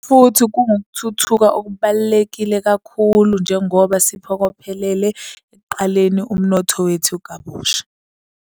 Futhi kungukuthuthuka okubalulekile kakhulu njengoba siphokophelele ekuqaleni umnotho wethu kabusha.